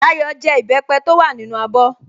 Dayọ̀ jẹ ìbẹ́pẹ́ tó wà nínú abọ́